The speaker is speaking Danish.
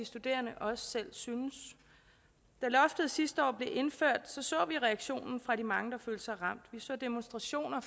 studerende også selv synes da loftet sidste år blev indført så vi reaktionen fra de mange der følte sig ramt vi så demonstrationer